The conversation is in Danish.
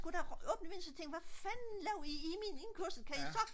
sgu da åbnet så tænkte hvad fanden laver i i min indkørsel kan i så